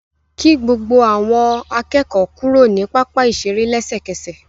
Kí gbogbo àwọn akẹ́kọ̀ọ́ kúrò ní pápá ìṣeré lẹ́sẹ̀kẹsẹ̀.